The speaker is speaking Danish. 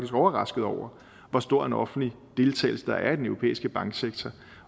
overrasket over hvor stor en offentlig deltagelse der er i den europæiske banksektor